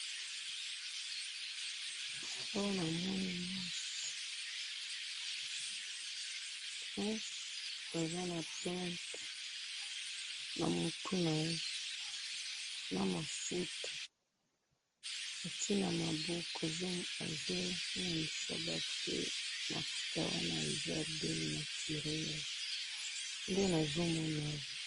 Oyo namoni mwasi, mwasi aza na plante namutu naye, namafuta atye namaboko, azo larisa batu mafuta wana que eza belle naturel, .